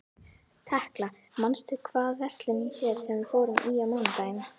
Tekla, manstu hvað verslunin hét sem við fórum í á mánudaginn?